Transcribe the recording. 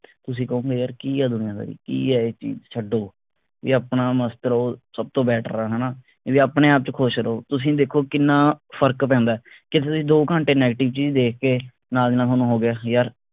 ਤੁਸੀਂ ਕਹੋਂਗੇ ਯਾਰ ਕਿ ਆ ਦੁਨੀਆਦਾਰੀ ਕਿ ਆ ਇਹ ਚੀਜ ਛੱਡੋ ਵੀ ਆਪਣਾ ਸਬ ਤੋਂ better ਆ ਹਣਾ ਵੀ ਆਪਣੇ ਆਪ ਚ ਖੁਸ਼ ਰਹੋ ਤੁਸੀਂ ਦੇਖੋ ਕਿੰਨਾ ਫਰਕ ਪੈਂਦਾ ਕਿਥੇ ਤੁਸੀਂ ਦੋ ਘੰਟੇ negative ਚੀਜ ਦੇਖ ਕੇ ਨਾਲ ਦੀ ਨਾਲ ਥੋਨੂੰ ਹੋ ਗਿਆ ਯਾਰ